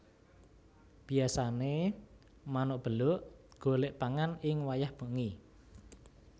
Biyasané manuk beluk golek pangan ing wayah wengi